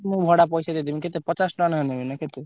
ମୁଁ ଭଡା ପଇସା ଦେଇଦେବି। କେତେ ପଚାଶ ଟଙ୍କା ନେଖା ନେବେ ନା କେତେ?